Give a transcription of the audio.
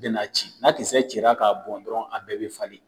Bɛna ci, n'a kisɛ cira k'a bɔn dɔrɔn a bɛɛ bɛ falen.